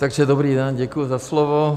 Takže dobrý den, děkuji za slovo.